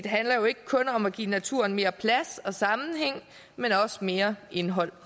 handler jo ikke kun om at give naturen mere plads og sammenhæng men også mere indhold